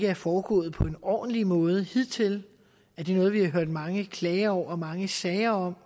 er foregået på en ordentlig måde hidtil er det noget vi har hørt mange klager over og haft mange sager om